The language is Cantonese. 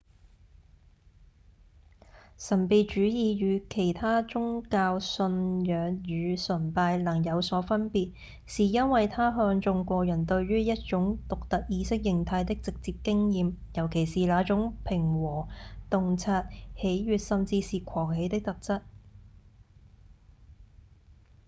神祕主義與其它宗教信仰與崇拜能有所分別是因為它看重個人對於一種獨特意識狀態的直接經驗尤其是那種平和、洞察、喜悅、甚至是狂喜的特質